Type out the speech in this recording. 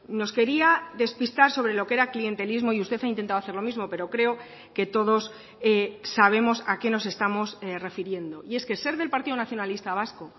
nos quería despistar sobre lo que era clientelismo y usted ha intentado hacer lo mismo pero creo que todos sabemos a qué nos estamos refiriendo y es que ser del partido nacionalista vasco